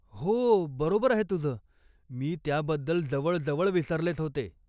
हो, बरोबर आहे तुझं. मी त्याबद्दल जवळजवळ विसरलेच होते.